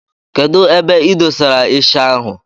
Kedụ ebe idosara isha ahụ?